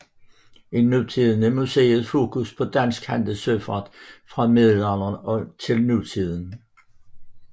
I nutiden er museets fokus på dansk handelssøfart fra middelalderen og til nutiden